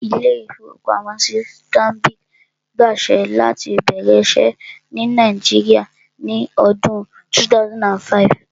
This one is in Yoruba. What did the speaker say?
Ilé-ìfowópamọ́sí Stanbic gba àṣẹ láti bẹ̀rẹ̀ iṣẹ́ ní Nàìjíríà ní ọdún 2005